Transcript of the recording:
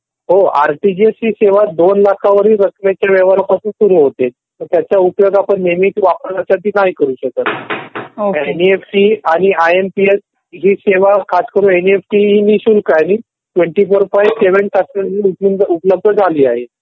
हो आरटीजीएस ही सेवा दोन लाखावरील रकमेच्या व्यवहारापासून सुरू होते. तर त्याचा उपयोग आपण नेहमी वापराण्यासाठी नाही करू शकत कारण तर एनईएफटी आणि आय एम पी एस